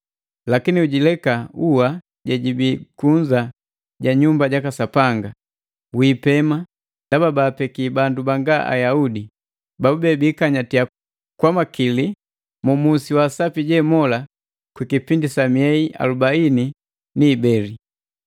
Lakini ujileka ua jejibi kunza ja Nyumba jaka Sapanga, wiipema ndaba baapeki bandu banga Ayaudi, babube biikanyatiya kwa makili mu musi wa asapi jemola kwi kipindi sa miei alubaini ni ibeli.